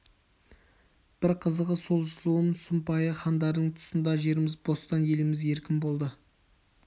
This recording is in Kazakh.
бір қызығы сол зұлым сұмпайы хандардың тұсында жеріміз бостан еліміз еркін болатын